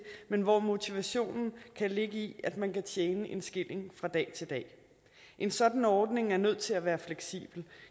men hvor motivationen kan ligge i at man kan tjene en skilling fra dag til dag en sådan ordning er nødt til at være fleksibel